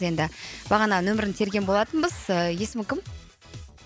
енді бағана нөмірін терген болатынбыз есімі кім